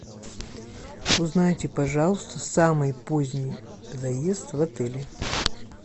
узнайте пожалуйста самый поздний заезд в отеле